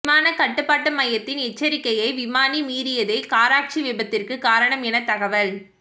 விமான கட்டுப்பாட்டு மையத்தின் எச்சரிக்கையை விமானி மீறியதே கராச்சி விபத்திற்கு காரணம் என தகவல்